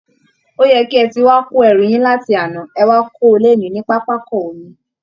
Ó yẹ kí ẹ ti wá kó ẹrù yín láti àná, ẹ wá kó o lénìí ní pápákọ omi!